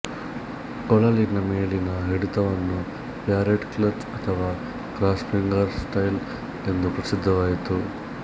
ಕೊಳಲಿನ ಮೇಲಿನ ಹಿಡಿತವನ್ನು parrot clutch ಅಥವಾ ಕ್ರಾಸ್ ಫಿಂಗರ್ ಸ್ಟೈಲ್ಎಂದು ಪ್ರಸಿದ್ಧವಾಯಿತು